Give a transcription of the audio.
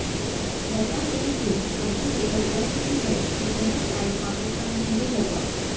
बता दें कि अभी यह तय नहीं है कि यह टाई पाकिस्तान में ही होगा